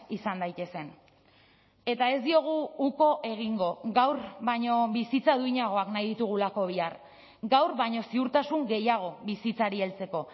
izan daitezen eta ez diogu uko egingo gaur baino bizitza duinagoak nahi ditugulako bihar gaur baino ziurtasun gehiago bizitzari heltzeko